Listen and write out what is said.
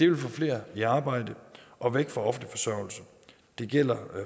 vil få flere i arbejde og væk fra offentlig forsørgelse det gælder